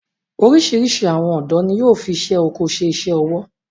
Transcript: Orísirísi àwọn ọ̀dọ́ ni yóò fi isé oko ṣe iṣẹ ọwọ